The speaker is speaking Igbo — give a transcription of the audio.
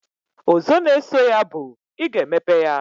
Ozo na eso ya bu, iga emepe ya